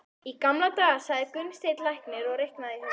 Í gamla daga, sagði Gunnsteinn læknir og reiknaði í huganum.